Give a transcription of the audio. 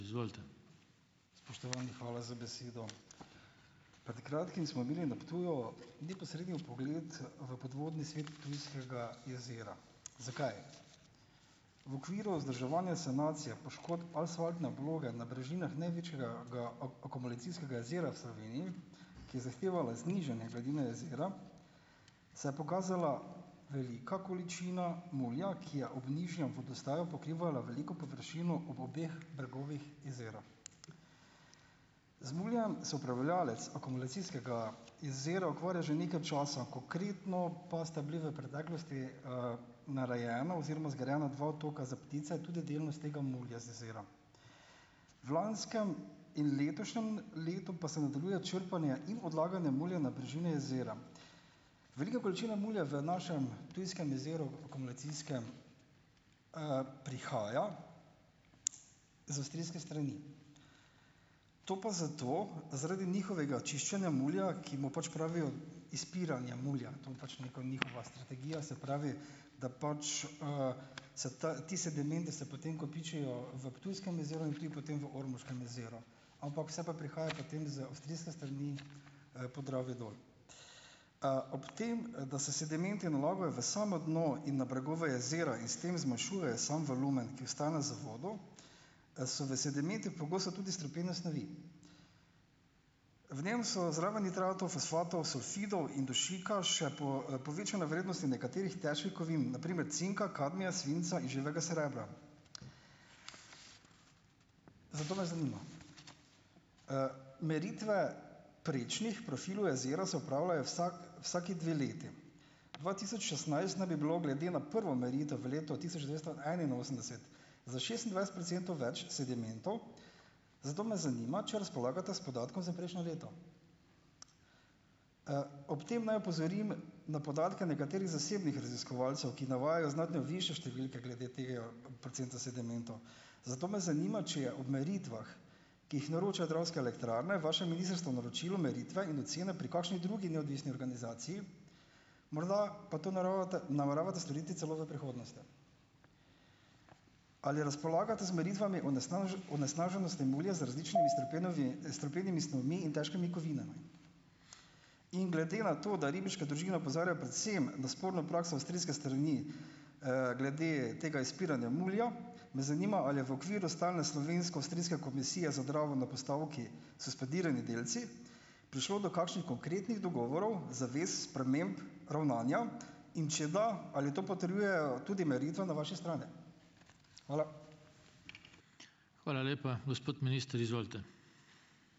Spoštovani, hvala za besedo. Pred kratkim smo imeli na Ptuju neposredni vpogled v podvodni svet Ptujskega jezera. Zakaj? V okviru vzdrževanja sanacije poškodb asfaltne obloge na brežinah največjega akumulacijskega jezera v Sloveniji, ki je zahtevala znižanje gladine jezera, se je pokazala velika količina mulja, ki je ob nižjem vodostaju pokrivala veliko površino ob obeh bregovih jezera. Z muljem se upravljavec akumulacijskega jezera ukvarja že nekaj časa, konkretno pa sta bili v preteklosti, narejena oziroma zgrajena dva otoka za ptice, tudi delno iz tega mulja z jezera. V lanskem in letošnjem letu pa se nadaljuje črpanje in odlaganje mulja na brežine jezera. Velika količina mulja v našem Ptujskem jezeru, akumulacijskem, prihaja, z avstrijske strani, to pa zato, zaradi njihovega čiščenja mulja, ki mu pač pravijo izpiranje mulja - to je pač neka njihova strategija, se pravi, da pač, se ta ti sedimenti se potem kopičijo v Ptujskem jezeru in tudi potem v Ormoškem jezeru, ampak vse pa prihaja potem z avstrijske strani, Podravje dol. Ob tem, da se sedimenti nalagajo v samo dno in na bregove jezera in s tem zmanjšujejo samo volumen, ki ostane za vodo, so v sedimentih pogosto tudi strupene snovi. V njem so zraven nitratov, fosfatov, sulfidov in dušika, še povečane vrednosti nekaterih težkih kovin - na primer cinka, kadmija, svinca in živega srebra. Zato me zanima, meritve prečnih profilov jezera se opravljajo vsaki dve leti. Dva tisoč šestnajst naj bi bilo, glede na prvo meritev v letu tisoč devetsto enainosemdeset za šestindvajset procentov več sedimentov, zato me zanima, če razpolagate s podatkom za prejšnje leto? Ob tem naj opozorim na podatke nekaterih zasebnih raziskovalcev, ki navajajo znatno višje številke glede tega procenta sedimentov. Zato me zanima, če je ob meritvah, ki jih naročajo Dravske elektrarne, vaše ministrstvo naročilo meritve in ocene pri kakšni drugi neodvisni organizaciji, morda pa to naravate nameravate storiti celo v prihodnosti. Ali razpolagate z meritvami onesnaženosti mulja z različnimi strupenimi snovmi in težkimi kovinami? In glede na to, da ribiške družine opozarjajo predvsem, da sporno prakso avstrijske strani, glede tega izpiranja mulja, me zanima, ali je v okviru stalne slovensko-avstrijske komisije za Dravo na postavki suspendirani delci prišlo do kakšnih konkretnih dogovorov, zavez, sprememb, ravnanja, in če da, ali to potrjujejo tudi meritve na vaši strani? Hvala.